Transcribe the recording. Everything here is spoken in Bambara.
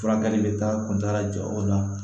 Furakɛli bɛ taa kuntala jɔ o la